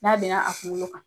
N'a bena a kunkolo kan